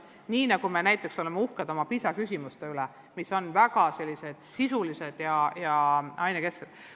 Nii nagu me näiteks oleme uhked oma PISA-küsimuste üle, mis on väga sisulised ja ainekesksed.